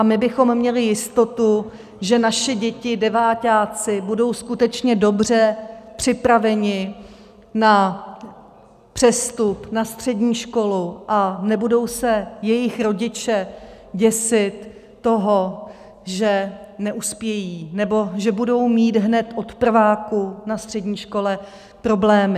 A my bychom měli jistotu, že naše děti - deváťáci - budou skutečně dobře připraveny na přestup na střední školu a nebudou se jejich rodiče děsit toho, že neuspějí nebo že budou mít hned od prváku na střední škole problémy.